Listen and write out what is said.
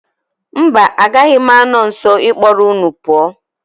Mba, agaghị m anọ nso ịkpọrọ unu pụọ.